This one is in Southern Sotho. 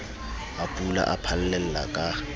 a pula a phallella ka